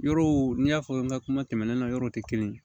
Yɔrɔw n y'a fɔ n ka kuma tɛmɛnenw na yɔrɔw tɛ kelen ye